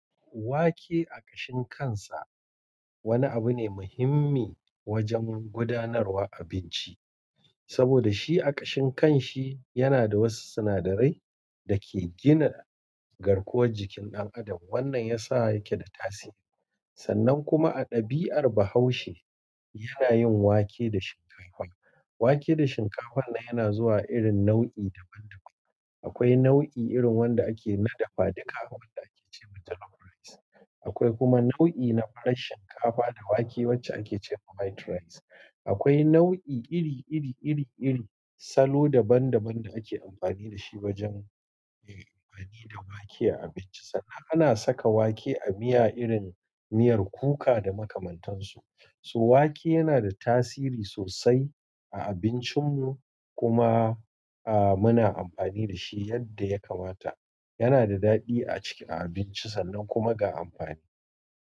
Wake a ƙashin kansa wani abu ne muhimmi wajen gudanarwa abinci. Saboda shi a ƙashin kan shi yana da wasu sinadarai da ke gina garkuwar jikin ɗan adam. Wannan yasa yake da tasiri. Sannan kuma a dabi'ar Bahaushe yana yin wake da shinkafa. Wake da shinkafa nan yana zuwa irin nau'i daban daban. Akwai nau'i irin wanda ake na dafa duka wanda ake ce ma "jollof rice". Akwai kuma nau'i na farar shinkafa da wake wacce ake ce ma "white rice". Akwai nau'i iri iri iri iri salo daban daban da ake amfani da shi wajen yin amfani da wake a abinci. Sannan ana saka wake a miya irin miyar kuka da makamantansu. Toh wake yana da tasiri sosai a abincinmu kuma. A muna amfani da shi yadda ya kamata. Yana da daɗi a ciki a abinci sannan kuma ga amfani.